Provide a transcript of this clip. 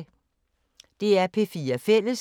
DR P4 Fælles